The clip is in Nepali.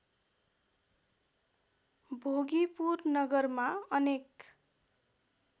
भोगीपुर नगरमा अनेक